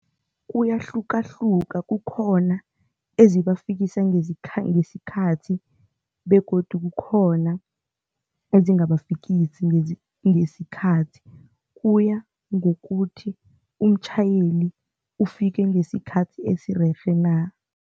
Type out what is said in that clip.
Kuyahlukahlukana, kukhona ezibafikisi ngesikhathi ngesikhathi begodu kukhona ezingabafikisi ngesikhathi kuya ngokuthi umtjhayeli ufike ngesikhathi esirerhe na.